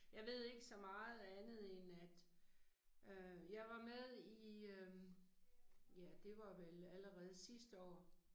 Jeg ved ikke så meget andet end at, øh jeg var med i øh ja det var vel allerede sidste år